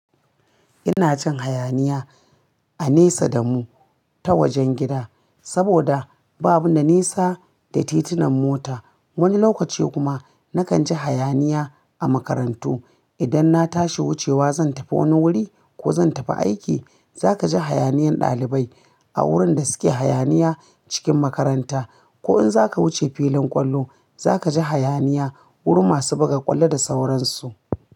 Ina jin hayaniya a nesa da mu ta wajen gida, saboda babu na nesa da titunan mota. Wani lokaci kuma nakan ji hayaniya a makarantu. Idan na tashi wucewa zan tafi wani wuri ko zan tafi aiki, za ka ji hayaniyan ɗalibai a wurin da suke hayaniya cikin makaranta. Ko in za ka wuce filin ƙwallo, za ka ji hayaniya wurin masu buga ƙwallo da sauransu.